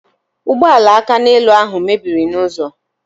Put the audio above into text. Ụgbọala akaneelu ahụ mebiri n'ụzọ